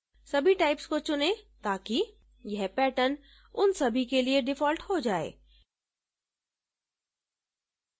सभी types को चुनें ताकि यह pattern उन सभी के लिए default हो जाए